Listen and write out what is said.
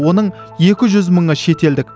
оның екі жүз мыңы шетелдік